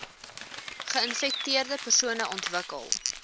geinfekteerde persone ontwikkel